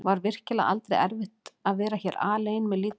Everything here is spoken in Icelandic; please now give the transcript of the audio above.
Var virkilega aldrei erfitt að vera hér alein með lítið barn?